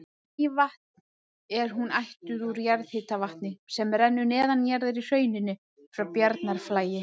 Mývatn er hún ættuð úr jarðhitavatni sem rennur neðanjarðar í hrauninu frá Bjarnarflagi.